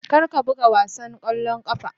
Kar ka buga wasan ƙwallon ƙafa.